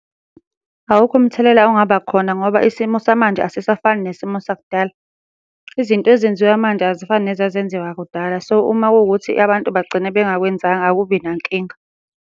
Awukho umthelela ongaba khona ngoba isimo samanje asisafani nesimo sakudala. Izinto ezenziwa manje azifani nezazenziwa kudala. So, uma kuwukuthi abantu bagcina bengakwenzanga akubi nankinga.